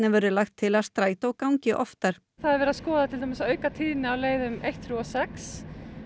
lagt til að strætó gangi oftar það er verið að skoða til dæmis að auka tíðni á leiðum eins þriggja og sex